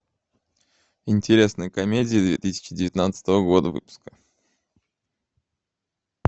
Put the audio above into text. интересные комедии две тысячи девятнадцатого года выпуска